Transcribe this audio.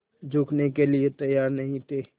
झुकने के लिए तैयार नहीं थे